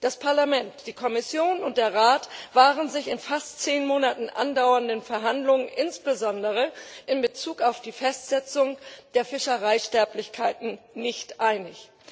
Das Parlament, die Kommission und der Rat waren sich in fast zehn Monaten andauernden Verhandlungen insbesondere in Bezug auf die Festsetzung der Fischereisterblichkeiten nicht einig.